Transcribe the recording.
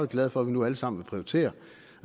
glade for at vi nu alle sammen vil prioritere